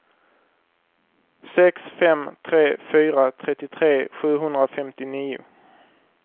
sex fem tre fyra trettiotre sjuhundrafemtionio